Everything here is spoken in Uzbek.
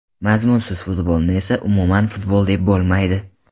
Mazmunsiz futbolni esa umuman futbol deb bo‘lmaydi.